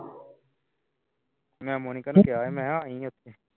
ਮੈਂ monika ਨੂੰ ਕਿਹਾ ਸੀ ਆਈ ਉਥੇ